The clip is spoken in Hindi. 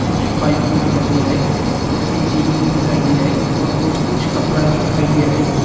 कुछ पाइप भी दिखाई दे रहा है और एक सीढ़ी भी दिखाई दे रहा है और और कुछ कपड़ा भी दिखाई दे रहा है।